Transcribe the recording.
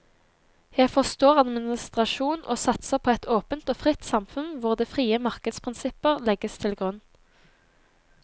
Jeg forstår administrasjon og satser på et åpent og fritt samfunn hvor det frie markeds prinsipper legges til grunn.